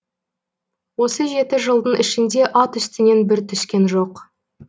осы жеті жылдың ішінде ат үстінен бір түскен жоқ